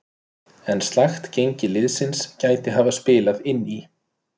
En slakt gengi liðsins gæti hafa spilað inn í.